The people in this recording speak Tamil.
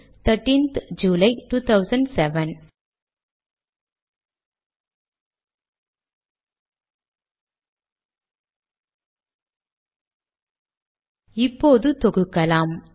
இதை கம்பைல் செய்ய நாம் இந்த இந்திய முறையில் தேதி வெளியீட்டு பைலில் காணலாம்